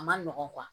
A ma nɔgɔn